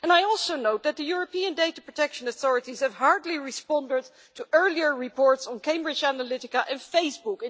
I also note that the European data protection authorities have hardly responded to earlier reports on Cambridge Analytica and Facebook.